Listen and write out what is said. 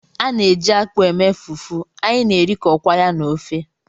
A na-eji akpụ eme fufu, anyị na-erikọkwa ya na ofe